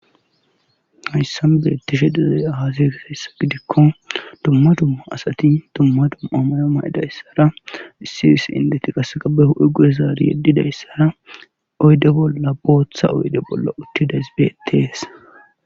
hayssan betishe dezey hase kisessa gidikko tumma dumma asati dumma dummaamayo maydayssara issiis indeti qaseqabe hu7e gure zaari yeddidayssara oyde bolla booththa oyde bolla uttidays betes